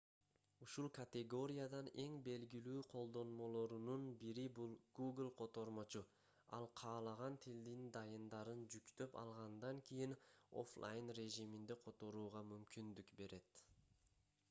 ушул категориядан эң белгилүү колдонмолорунун бири бул google котормочу ал каалаган тилдин дайындарын жүктөп алгандан кийин оффлайн режиминде которууга мүмкүндүк берет